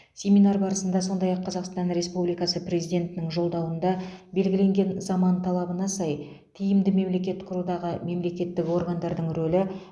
семинар барысында сондай ақ қазақстан республикасы президентінің жолдауында белгіленген заман талабына сай тиімді мемлекет құрудағы мемлекеттік органдардың рөлі